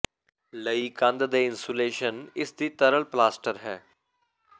ਲਈ ਕੰਧ ਦੇ ਇਨਸੂਲੇਸ਼ਨ ਇਸ ਦੀ ਤਰਲ ਪਲਾਸਟਰ ਹੈ